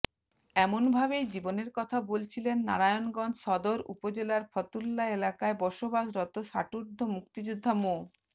এমনভাবেই জীবনের কথা বলছিলেন নারায়ণগঞ্জ সদর উপজেলার ফতুল্লা এলাকায় বসবাসরত ষাটোর্ধ্ব মুক্তিযোদ্ধা মো